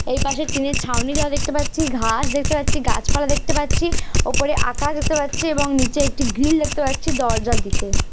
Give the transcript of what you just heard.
এই পাশে টিনের ছাউনি দেওয়া দেখতে পাচ্ছি। ঘাস দেখতে পাচ্ছি। গাছ পালা দেখতে পাচ্ছি। ওপরে আকাশ দেখতে পাচ্ছি এবং নিচে গ্রিল দেখতে পাচ্ছি দরজার দিকে।